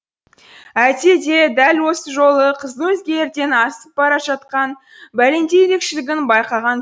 әйтсе де дәл осы жолы қыздың өзгелерден асып бара жатқан бәлендей ерекшелігін байқаған